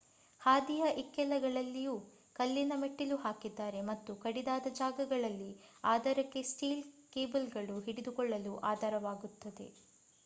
ಹಾದಿಯ ಇಕ್ಕೆಲಗಳಲ್ಲೂ ಕಲ್ಲಿನ ಮೆಟ್ಟಿಲು ಹಾಕಿದ್ದಾರೆ ಮತ್ತು ಕಡಿದಾದ ಜಾಗಗಳಲ್ಲಿ ಆಧಾರಕ್ಕೆ ಸ್ಟೀಲ್ ಕೇಬಲ್ಗಳು ಹಿಡಿದುಕೊಳ್ಳಲು ಆಧಾರವಾಗುತ್ತವೆ